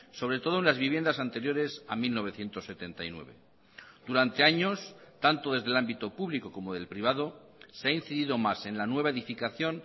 sobre todo en las viviendas anteriores a mil novecientos setenta y nueve durante años tanto desde el ámbito público como del privado se ha incidido más en la nueva edificación